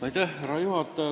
Härra juhataja!